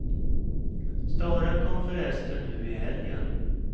Staren kom förresten nu i helgen.